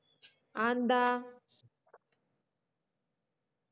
അതെന്താ